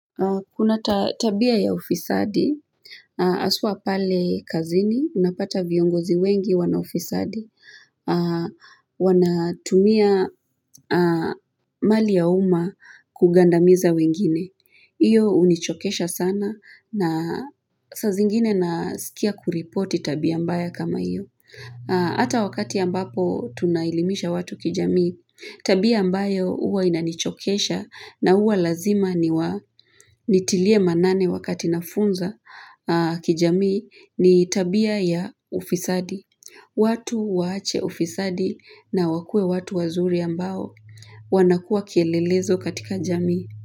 Kuna tabia ya ufisadi, haswa pale kazini. Unapata viongozi wengi wana ufisadi. Wanatumia mali ya umma kugandamiza wengine. Hiyo hunichokesha sana. Na saa zingine nasikia kuripoti tabia mbaya kama hiyo. Hata wakati ambapo tunaelimisha watu kijamii, tabia ambayo huwa inanichokesha na huwa lazima nitilie manane wakati nafunza kijamii, ni tabia ya ufisadi. Watu waache ufisadi na wakue watu wazuri ambao wanakua kielelezo katika jamii.